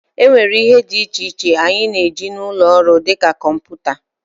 e nwere ihe dị iche iche anyị na-eji n'ụlọ ọrụ, dị ka kọmputa